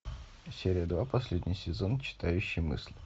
серия два последний сезон читающий мысли